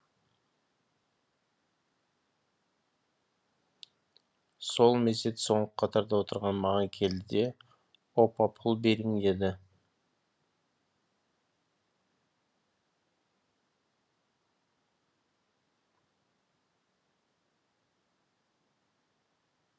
сол мезет соңғы қатарда отырған маған келді де опа пұл бериң деді